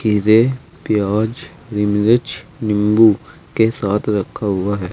खीरे प्याज हरी मिर्च नींबू के साथ रखा हुआ है।